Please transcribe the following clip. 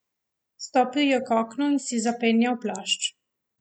Stopil je k oknu in si zapenjal plašč.